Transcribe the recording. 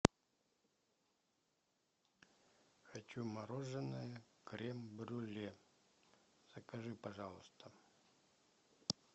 хочу мороженое крем брюле закажи пожалуйста